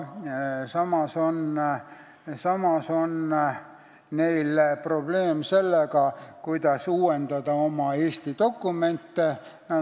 Samas on neil probleeme sellega, kuidas uuendada Eesti dokumente.